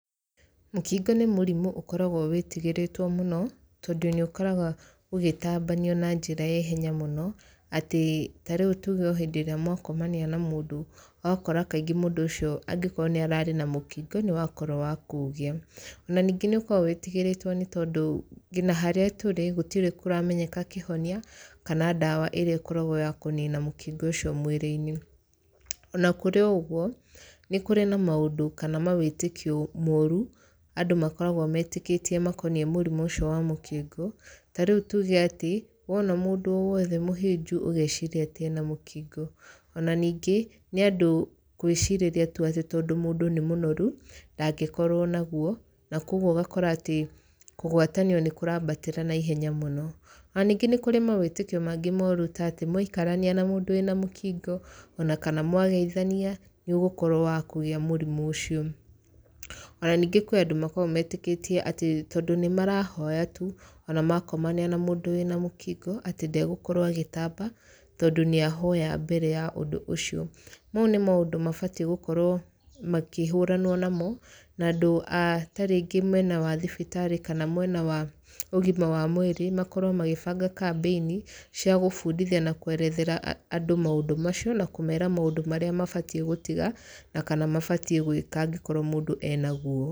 Mũkingo nĩ mũrimũ ũkoragwo wĩtigĩrĩtwo mũno, tondũ nĩ ũkoragwo ũgĩtambanio na njĩra ya ihenya mũno. Atĩ tarĩu tuge o hĩndĩ ĩrĩa mwakomania na mũndũ, ũgakora kaingĩ mũndũ ũcio angĩkorwo nĩ ararĩ na mũkingo nĩ wakorwo wa kũũgĩa. Ona ningĩ nĩ ũkoragwo wĩtigĩrĩtwo nĩ tondũ, nginya harĩa tũrĩ gũtirĩ kũramenyeka kĩhonia kana ndawa ĩrĩa ĩkoragwo ya kũnina mũkingo ũcio mĩrĩ-inĩ. Ona kũrĩ o ũguo, nĩ kũrĩ na maũndũ kana mawĩtĩkio moru, andũ makoragwo metĩkĩtie makoniĩ mũrimũ ũcio wa mũkingo. Ta rĩu tuge atĩ, wona mũndũ o wothe mũhĩnju, ũgeciria atĩ ena mũkingo. Ona ningĩ, nĩ andũ gwĩcirĩria tu atĩ tondũ mũndũ nĩ mũnoru, ndangĩkorwo naguo, na kũguo ũgakora atĩ kũgwatanio nĩ kũrambatĩra naihenya mũno. Ona ningĩ nĩ kũrĩ mawĩtĩkio mangĩ moru ta atĩ, mwaikarania na mũndũ wĩna mũkingo, ona kana mwageithania, nĩ ũgũkorwo wa kũgĩa mũrimũ ũcio. Ona ningĩ kwĩ andũ makoragwo metĩkĩtie atĩ tondũ nĩ marahoya tu, ona makomania na mũndũ wĩna mũkingo, atĩ ndegũkorwo agĩtamba, tondũ nĩ ahoya mbere ya ũndũ ũcio. Mau nĩ maũndũ mabatiĩ gũkorwo makĩhũranwo namo, na andũ a tarĩngĩ mwena wa thibitarĩ kana mwena wa ũgima wa mwĩrĩ, makorwo magĩbanga kambĩini, cia gũbundithia na kwerethera andũ maũndũ macio, na kũmeera maũndũ marĩa mabatiĩ gũtiga, na kana mabatiĩ gwĩka angĩkorwo mũndũ ena guo.